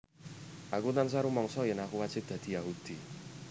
Aku tansah rumangsa yen aku wajib dadi Yahudi